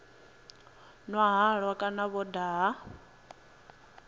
nwa halwa kana vho daha